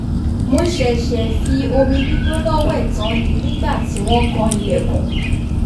mo ṣẹ̀ṣẹ̀ fi omi gbígbóná wẹ̀ tán ni nígbà tí wọ́n kan ilẹ̀kùn